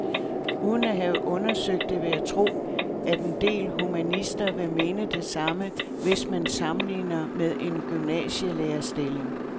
Uden at have undersøgt det vil jeg tro, at en del humanister vil mene det samme, hvis man sammenligner med en gymnasielærerstilling.